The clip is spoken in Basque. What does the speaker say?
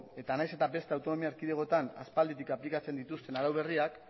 eta nahiz eta beste autonomi erkidegoetan aspalditik aplikatzen dituzten arau berriakk